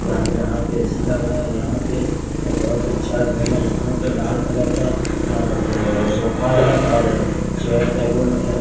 यहां पे ऐसी लगा है यहां पे बोहोत अच्छा रूम है यहां पे लाल कलर का अ ब सोफा है और चेयर टेबल हैं।